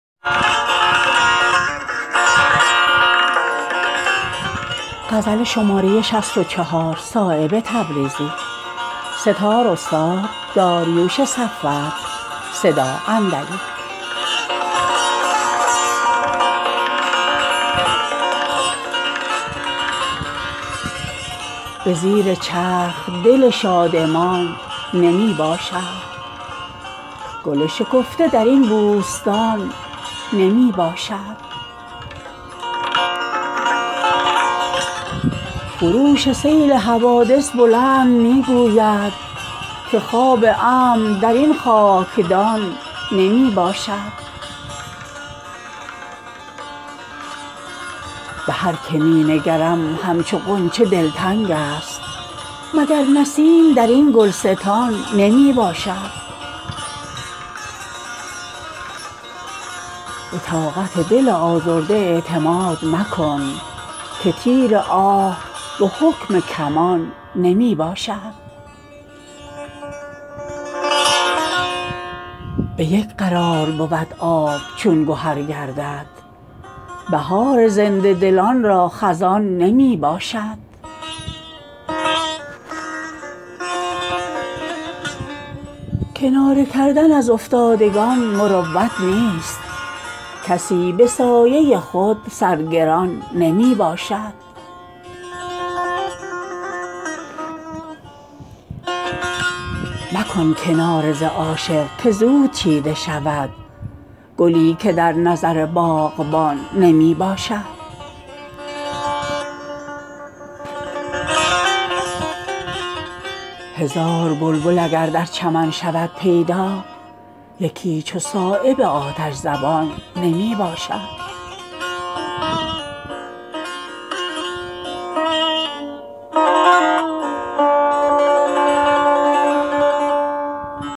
به زیر چرخ دل شادمان نمی باشد گل شکفته درین بوستان نمی باشد خروش سیل حوادث بلند می گوید که خواب امن درین خاکدان نمی باشد مخور ز ساده دلی ها فریب صبح نشاط که هیچ مغز درین استخوان نمی باشد به هرکه می نگرم همچو غنچه دلتنگ است مگر نسیم درین گلستان نمی باشد دلیل رفتن دل هاست آه دردآلود غبار بی خبر کاروان نمی باشد دلی که نیست خراشی در او زمین گیر است زری که سکه ندارد روان نمی باشد به طاقت دل آزرده اعتماد مکن که تیر آه به حکم کمان نمی باشد کناره کردن از افتادگان مروت نیست کسی به سایه خود سرگردان نمی باشد مکن کناره ز عاشق که زود چیده شود گلی که در نظر باغبان نمی باشد به یک قرار بود آب چون گهر گردد بهار زنده دلان را خزان نمی باشد به گنج های گهر ماه مصر ارزان است به هر بها که بودمی گران نمی باشد قدم ز میکده بیرون منه که جز خط جام خط مسلمیی در جهان نمی باشد گران تر است به دیوان حشر میزانش به هرکه سنگ ملامت گران نمی باشد به چشم زنده دلان خوش تر است خلوت گور ز خانه ای که در او میهمان نمی باشد شکسته رنگی ما نامه ای است واکرده چه شد که شکوه ما را زبان نمی باشد هزار بلبل اگر در چمن شود پیدا یکی چو صایب آتش زبان نمی باشد